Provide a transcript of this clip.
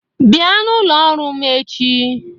Bịa n'ụlọ ọrụ m echi!